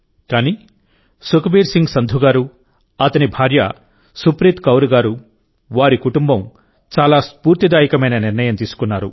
కానీ సుఖ్బీర్ సింగ్ సంధు గారు అతని భార్య సుప్రీత్ కౌర్ గారు వారి కుటుంబం చాలా స్ఫూర్తిదాయకమైన నిర్ణయం తీసుకున్నారు